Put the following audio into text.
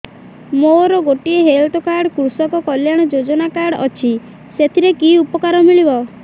ମୋର ଗୋଟିଏ health card କୃଷକ କଲ୍ୟାଣ ଯୋଜନା କାର୍ଡ ଅଛି ସାଥିରେ କି ଉପକାର ମିଳିବ